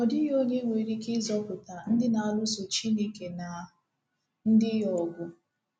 Ọ dịghị onye nwere ike ịzọpụta ndị na-alụso Chineke na ndị ya ọgụ.